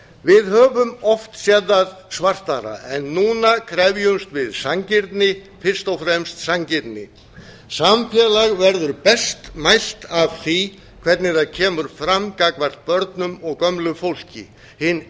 við höfum oft sé það svartara en núna krefjumst við sanngirni fyrst og fremst sanngirni samfélag verður best mælt af því hvernig það kemur fram gagnvart börnum og gömlu fólki hin